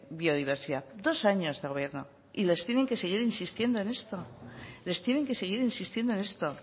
biodiversidad dos años de gobierno y les tienen que seguir insistiendo en esto les tienen que seguir insistiendo en esto